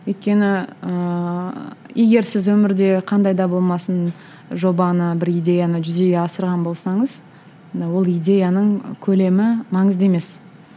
өйткені ыыы егер сіз өмірде қандай да болмасын жобаны бір идеяны жүзеге асырған болсаңыз ол идеяның көлемі маңызды емес